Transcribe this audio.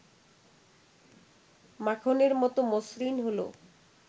মাখনের মত মসৃণ হলো